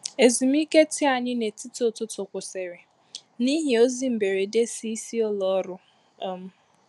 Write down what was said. Ezùmíkè tii ànyị n’etiti ụtụtụ kwụsịrị n’ihi ozi mberede si isi ụlọ ọrụ. um